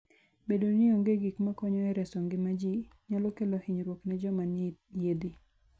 Bedo ni onge gik makonyo e reso ngima ji, nyalo kelo hinyruok ne joma nie yiedhi.